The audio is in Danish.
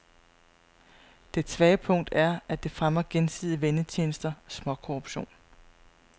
Dets svage punkt er, at det fremmer gensidige vennetjenester, småkorruption.